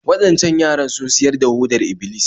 Waɗancan yaran sun siyar da hodar Iblis